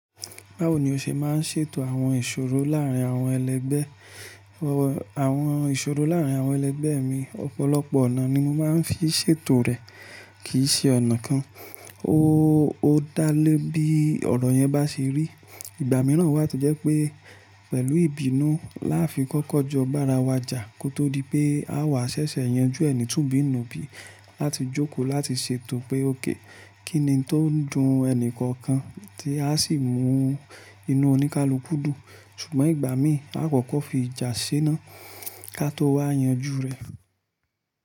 Báwo ni o ṣe máa ń ṣètò àwọn ìṣòro láàrín àwọn ẹlẹgbẹ́? Àwọn ìṣòro láàrín àwọn ẹlẹgbẹ́ mi, ọ̀pọ̀lọpọ̀ ọ̀nà ni mo máa ń fi ṣètò rẹ̀, kì í ṣe ọ̀nà kan. Ó dá lé bí ọ̀rọ̀ yẹn bá ṣe rí. Ìgbà mìíràn wà to jẹ́ pé pẹ̀lú ìbínú láfi kọ́kọ́ jọ bára wa jà kó tó di pé a wà ṣẹ̀ṣẹ̀ yanjú ẹ ni túbi nù bí, láti jókòó láti ṣètò pé ók kíni n tó ń dun ẹnì kọ̀ọ̀kan tí a sì mú inú oníkálukú dùn. Ṣùgbọ́n ìgbà míì, a kọ́kọ́ fi ìjà ṣé ná ká tó wá yanjú rẹ̀.